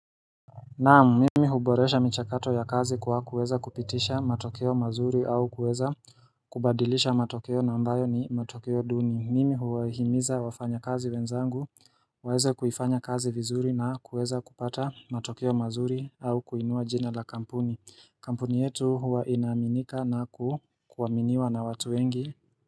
Naam, mimi huboresha michakato ya kazi kwa kuweza kupitisha matokeo mazuri au kuweza kubadilisha matokeo na ambayo ni matokeo duni. Mimi huwaihimiza wafanyakazi wenzangu, waeze kuifanya kazi vizuri na kuweza kupata matokeo mazuri au kuinua jina la kampuni. Kampuni yetu huwa inaaminika na ku kuaminiwa na watu wengi.